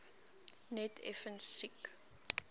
net effens siek